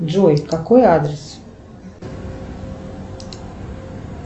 джой какой адрес